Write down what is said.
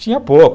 Tinha pouco.